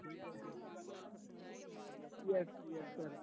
yes yes sir